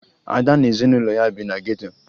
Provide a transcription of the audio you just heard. Ada na ezinụlọ ya bi na geto